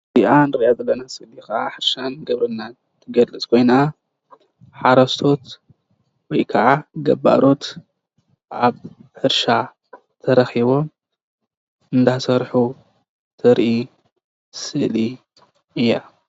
እዚኣ ንርኣ ዘለና ስእሊ ሕርሻን ግብርናን ትገልፅ ኮይና ሓረስቶት/ገባሮት/ ኣብ ሕርሻ ተረኪቦም እናሰርሑ ተርኢ ስእሊ እያ።